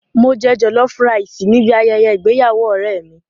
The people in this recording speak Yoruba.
Mo jẹ jọ̀lọ́fú raìsì níbi ayẹyẹ ìgbéyàwó ọ̀rẹ́ mi.